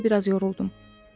Sadəcə biraz yoruldum.